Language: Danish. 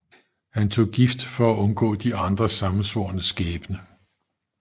Han tog gift for at undgå de andre sammensvornes skæbne